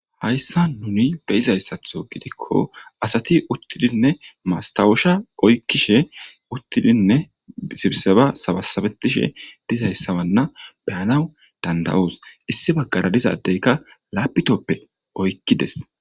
Hayssa nuni be izayssatho gidikko asati uttidinne maastawosha oykkishe uttidinne sibseba sabasabetishe dizayssabanna beyanaw danda7oos issi baggara dizaaddeykka laapitoppe oykkides.